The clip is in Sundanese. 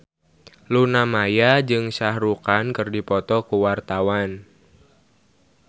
Luna Maya jeung Shah Rukh Khan keur dipoto ku wartawan